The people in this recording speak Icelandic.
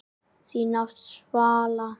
Þín nafna, Svala.